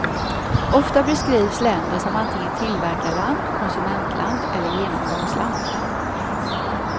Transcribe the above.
Ofta beskrivs länder som antingen tillverkarland, konsumentland eller genomgångsland.